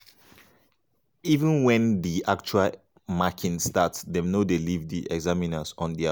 even wen di actual marking start dem no dey leave di examiners on dia own.